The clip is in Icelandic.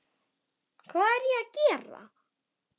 Hvað er ég að gera?